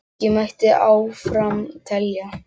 Lengi mætti áfram telja.